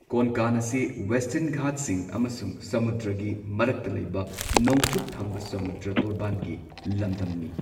ꯀꯣꯟꯀꯥꯟ ꯑꯁꯤ ꯋꯦꯁꯇꯔꯟ ꯘꯥꯠꯁꯤꯡ ꯑꯃꯁꯨꯡ ꯁꯃꯨꯗ꯭ꯔꯒꯤ ꯃꯔꯛꯇ ꯂꯩꯕ ꯅꯣꯡꯆꯨꯞ ꯊꯪꯕ ꯁꯃꯨꯗ꯭ꯔ ꯇꯣꯔꯕꯥꯟꯒꯤ ꯂꯝꯗꯝꯅꯤ꯫